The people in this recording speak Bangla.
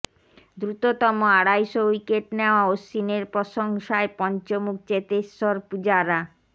দ্রুততম আড়াইশো উইকেট নেওয়া অশ্বিনের প্রশংসায় পঞ্চমুখ চেতেশ্বর পুজারা